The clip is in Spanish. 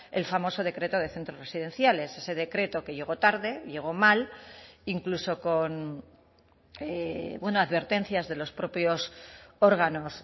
el famoso decreto de centros residenciales ese decreto que llegó tarde llego mal incluso con advertencias de los propios órganos